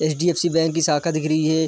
HDFC. Bank की शाखा दिख रही है।